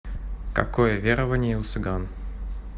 какое верование у цыган